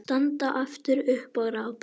Standa aftur upp og rápa.